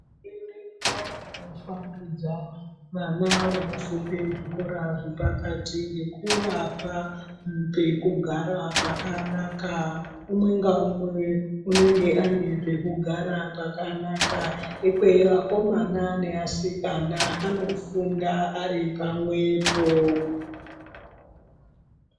Hurumende irkuramba yeipangudza vana vaofunda zvikora zvepakati ngekuvapa pekugara pakanaka. Umwe ngaumwe unenge ane pekugara pakanaka ikweyo. Akomana neasikana anofunda aripamwepo.